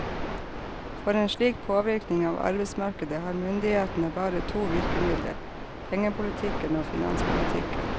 For en slik påvirkning av arbeidsmarkedet har myndighetene bare to virkemidler, pengepolitikken og finanspolitikken.